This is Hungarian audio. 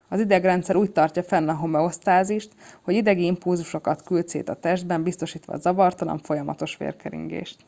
az idegrendszer úgy tartja fenn a homeosztázist hogy idegi impulzusokat küld szét a testben biztosítva a zavartalan folyamatos vérkeringést